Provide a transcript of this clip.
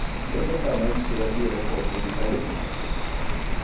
le motsamaisi wa direkoto difaele